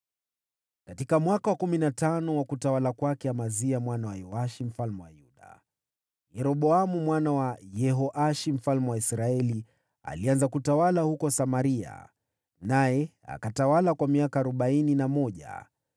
Katika mwaka wa kumi na tano wa utawala wa Amazia mwana wa Yoashi mfalme wa Yuda, Yeroboamu mwana wa Yehoashi mfalme wa Israeli alianza kutawala huko Samaria, naye akatawala kwa miaka arobaini na mmoja.